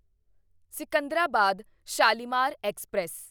Secunderabad Shalimar express